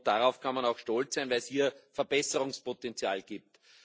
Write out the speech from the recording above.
Darauf kann man auch stolz sein, weil es hier Verbesserungspotenzial gibt.